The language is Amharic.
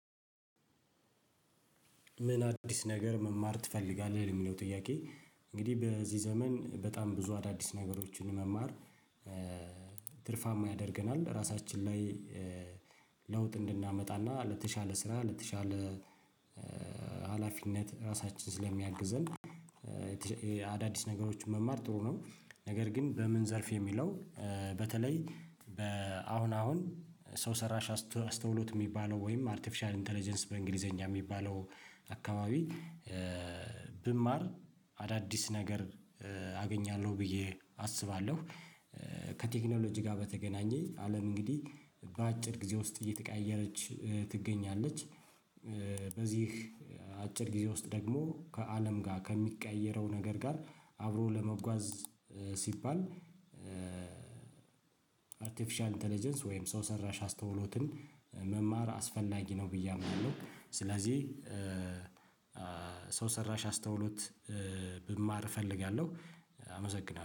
ምን አዲስ ነገር መማር ትፈልጋለህ ለሚለው ጥያቄ እንግዲህ በዚህ ዘመን በጣም ብዙ አዳዲስ ነገሮችን መማር። ትርፋማ ያደርገናል ራሳችን ላይ ለውጥ እንድናመጣና ለተሻለ ስራ ለተሻለ ሀላፊነት ራሳችን ስለሚያግዝን። አዳዲስ ነገሮችን መማር ጥሩ ነው። ነገር ግን በምን ዘርፍ የሚለው? በተለይ በአሁን አሁን ሰው ሰራሽ አስተውሎት እሚባለው ወይም አርቲፊሻል ኢንተለጀንስ በእንግሊዘኛ እሚባለው አካባቢ ብማር አዳዲስ ነገር አገኛለሁ ብዬ አስባለሁ። ከቴክኖሎጂ ጋር በተገናኘ አለም እንግዲህ በአጭር ጊዜ ውስጥ እየተቀያየረች ትገኛለች። በዚህ አጭር ጊዜ ውስጥ ደግሞ ከአለም ጋር ከሚቀያየረው ነገር ጋር አብሮ ለመጓዝ ሲባል። አርቲፊሻል ኢንተለጀንስ ወይም ሰው ሰራሽ አስተውሎትን መማር አስፈላጊ ነው ብዬ አምናለሁ ስለዚህ። ሰው ሰራሽ አስተውሎት ብማር እፈልጋለሁ አመሰግናለሁ